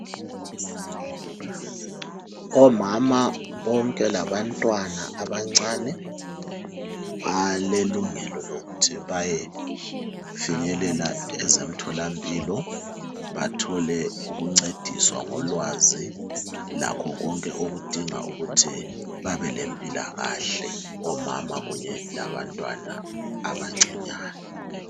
Omama bonke labantwana abancane balelungelo lokuthi bayefinyelela ezemtholampilo bathole ukuncediswa ngolwazi lakho konke okudinga ukuthi babelempilakahle omama kunye labantwana abancinyane